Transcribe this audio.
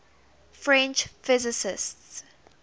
french physicists